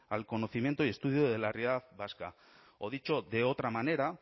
al conocimiento y estudio de la realidad vasca o dicho de otra manera